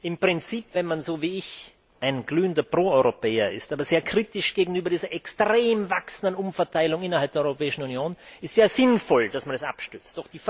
Im Prinzip, wenn man so wie ich ein glühender Pro Europäer ist, aber sehr kritisch gegenüber dieser extrem wachsenden Umverteilung innerhalb der der Europäischen Union, ist es sehr sinnvoll, dass man es abstützt.